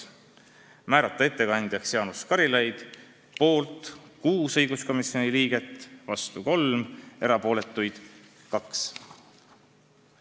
Ja lõpuks: määrata ettekandjaks Jaanus Karilaid – poolt 6 komisjoni liiget, vastu 3, erapooletuid 2.